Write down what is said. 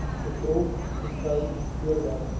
bedrog beskou voordat